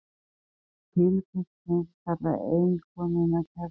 skildi filippus prins kalla eiginkonuna kerlingu